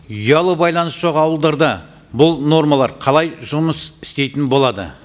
ұялы байланыс жоқ ауылдарда бұл нормалар қалай жұмыс істейтін болады